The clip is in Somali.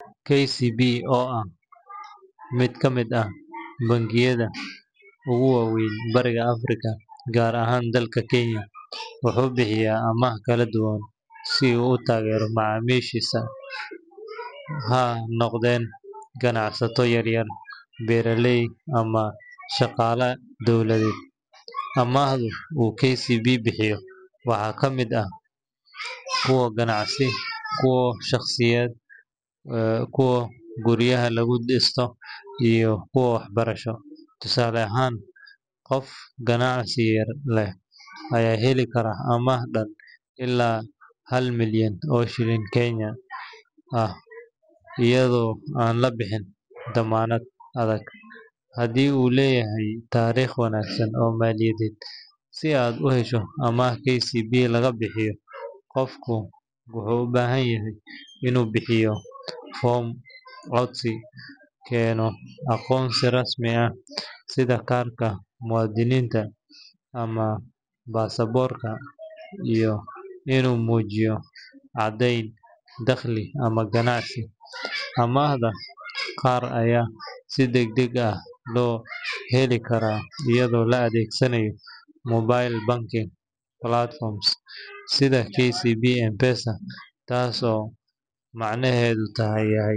KCB, oo ah mid ka mid ah bangiyada ugu waaweyn Bariga Afrika, gaar ahaan dalka Kenya, wuxuu bixiyaa amaahyo kala duwan si uu u taageero macaamiishiisa—ha noqdeen ganacsato yar yar, beeraley, ama shaqaale dawladeed. Amaahda uu KCB bixiyo waxaa ka mid ah kuwa ganacsi, kuwa shaqsiyadeed, kuwa guryaha lagu dhisto, iyo kuwo waxbarasho. Tusaale ahaan, qof ganacsi yar leh ayaa heli kara amaah dhan ilaa hal milyan oo shilin Kenyan ah, iyadoo aan la bixin dammaanad adag, haddii uu leeyahay taariikh wanaagsan oo maaliyadeed. Si aad u hesho amaah KCB laga bixiyo, qofku wuxuu u baahan yahay inuu buuxiyo foom codsi, keeno aqoonsi rasmi ah sida kaarka muwaadiniinta ama baasaboorka, iyo inuu muujiyo caddeyn dakhli ama ganacsi. Amaahda qaar ayaa si degdeg ah loo heli karaa iyadoo la adeegsanayo mobile banking platforms sida KCB M-PESA, taas oo macnaheedu tahay.